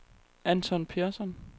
Anton Persson